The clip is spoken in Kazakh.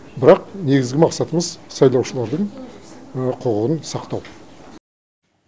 бірақ негізгі мақсатымыз сайлушылардың құқығын сақтау